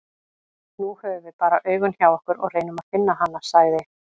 Nú höfum við bara augun hjá okkur og reynum að finna hana, sagði